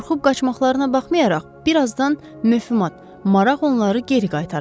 Qorxub qaçmaqlarına baxmayaraq bir azdan maraq onları geri qaytaracaq.